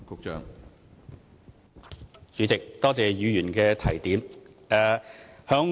主席，多謝議員的提點。